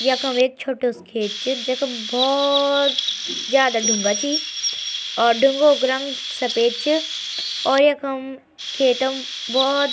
यखम एक छोटू सी खेत च जखम भोत ज्यादा ढुंगा छी और ढुंगो क रंग सपेद च और यखम खेतम भोत --